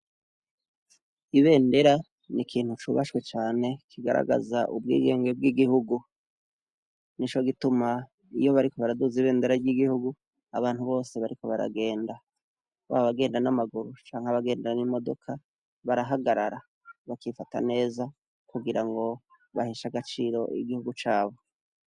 Ibendera ni ikintu cubashwe cane kigaragaza ubwigenge bw'igihugu. Nico gituma iyo bariko baraduza ibendera ry'igihugu, abantu bose bariko baragenda, baba abagenda n'amaguru canke abagenda n'imodoka, barahagarara, bakifata neza kugira ngo baheshe agaciro igihugu cabo.